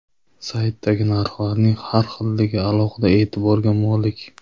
Saytdagi narxlarning har xilligi alohida e’tiborga molik.